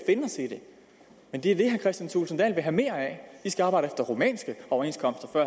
men det er det kristian thulesen dahl vil have mere af vi skal arbejde efter rumænske overenskomster